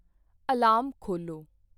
Alarm ਖੋਲ੍ਹੋ।